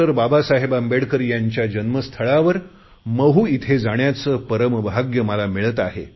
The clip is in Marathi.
बाबासाहेब आंबेडकर यांच्या जन्मस्थळावर महू इथे जाण्याचे परमभाग्य मला मिळत आहे